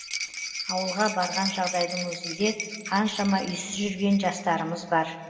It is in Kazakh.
ауылға барған жағдайдың өзінде қаншама үйсіз жүрген жастарымыз бар